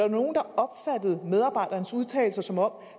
nogle der opfattede medarbejderens udtalelser som om